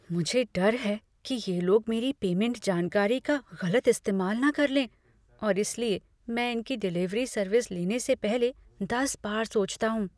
मुझे डर है कि ये लोग मेरी पेमेंट जानकारी का गलत इस्तेमाल न कर लें और इसलिए मैं इनकी डिलीवरी सर्विस लेने से पहले दस बार सोचता हूँ।